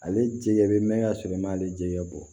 Ale jɛgɛ bɛ mɛn ka sɔrɔ i m'ale jɛgɛ bɔ